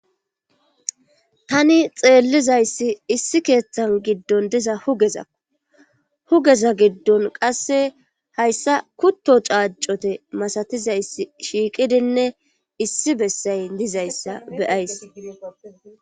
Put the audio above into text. tani xeellizayssi issi keeththan giddon diza hugezakko;hugeza giddon qassi hayssa kutto caaccute masatizayssi shiiqidinne issi bessay dizayssa be7ays.